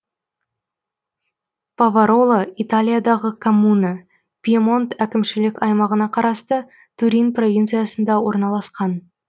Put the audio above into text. павароло италиядағы коммуна пьемонт әкімшілік аймағына қарасты турин провинциясында орналасқан